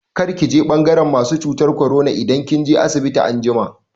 Kar ki je ɓangaran masu cutar korona idan kin je asibiti anjima!